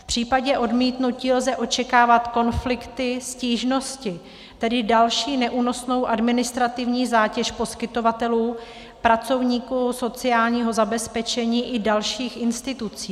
V případě odmítnutí lze očekávat konflikty, stížnosti, tedy další neúnosnou administrativní zátěž poskytovatelů, pracovníků sociálního zabezpečení i dalších institucí.